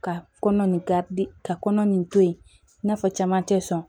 Ka kɔnɔ nin karidi ka kɔnɔ nin to ye i n'a fɔ caman tɛ sɔn